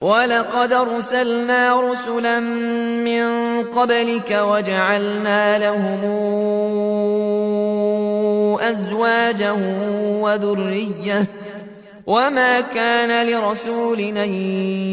وَلَقَدْ أَرْسَلْنَا رُسُلًا مِّن قَبْلِكَ وَجَعَلْنَا لَهُمْ أَزْوَاجًا وَذُرِّيَّةً ۚ وَمَا كَانَ لِرَسُولٍ أَن